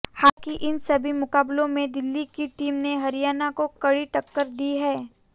हालांकि इन सभी मुकाबलों में दिल्ली की टीम ने हरियाणा को कड़ी टक्कर दी है